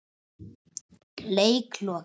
Leik lokið.